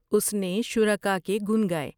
اس نے شرکاء کے گن گائے۔